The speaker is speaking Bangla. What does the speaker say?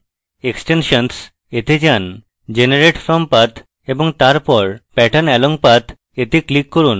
extensions এ যান generate from path এবং তারপর pattern along path এ লিক করুন